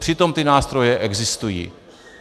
Přitom ty nástroje existují.